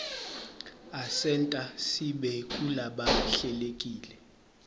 asenta sibe ngulabahlelekile